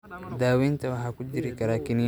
Daaweynta waxaa ku jiri kara kaniiniyo ama irbado.